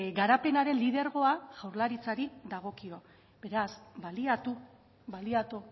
garapenaren lidergoa jaurlaritzari dagokio beraz baliatu baliatu